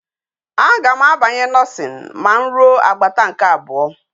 A ga m a banyi nursing ma m ruo agbata nke abuo